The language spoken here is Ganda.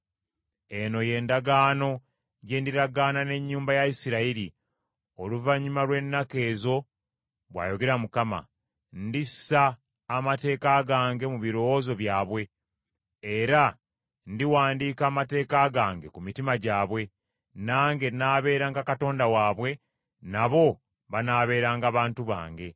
“Eno y’endagaano gye ndiragaana n’ennyumba ya Isirayiri, oluvannyuma lw’ennaku ezo, bw’ayogera Mukama. Ndissa amateeka gange mu birowoozo byabwe era ndiwandiika amateeka gange ku mitima gyabwe, nange nnaabeeranga Katonda waabwe, nabo banaabeeranga bantu bange.